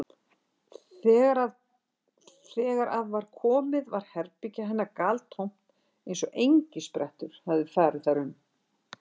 Þegar að var komið var herbergi hennar galtómt eins og engisprettur hefðu farið þar um.